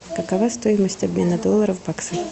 какова стоимость обмена доллара в баксы